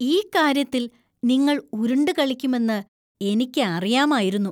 ഈ കാര്യത്തിൽ നിങ്ങൾ ഉരുണ്ടുകളിക്കുമെന്ന് എനിക്ക് അറിയാമായിരുന്നു.